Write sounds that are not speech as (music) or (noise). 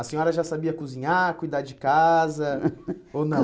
A senhora já sabia cozinhar, cuidar de casa, (laughs) ou não?